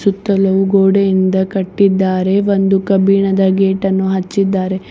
ಸುತ್ತಲೂ ಗೋಡೆಯಿಂದ ಕಟ್ಟಿದ್ದಾರೆ ಒಂದು ಕಬ್ಬಿಣದ ಗೇಟನ್ನು ಹಚ್ಚಿದ್ದಾರೆ.